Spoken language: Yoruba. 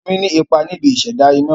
Omi ní ipa níbi ìṣẹ̀dá iná.